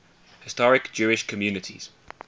historic jewish communities